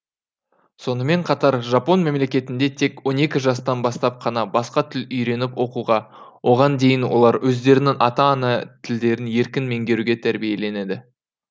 сонымен қатар жапон мемлекетінде тек он екі жастан бастап қана басқа тіл үйреніп оқуға оған дейін олар өздерінің ата ана тілдерін еркін меңгеруге тәрбиеленеді